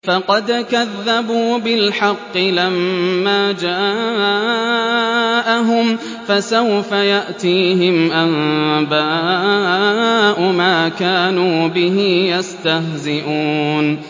فَقَدْ كَذَّبُوا بِالْحَقِّ لَمَّا جَاءَهُمْ ۖ فَسَوْفَ يَأْتِيهِمْ أَنبَاءُ مَا كَانُوا بِهِ يَسْتَهْزِئُونَ